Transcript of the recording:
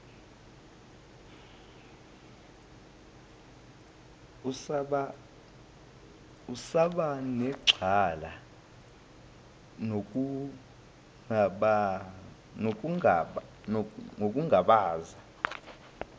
usaba nexhala nokungabaza